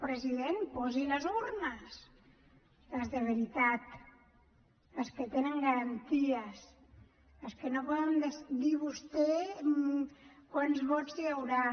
president posi les urnes les de veritat les que tenen garanties les que no poden dir vostès quants vots hi haurà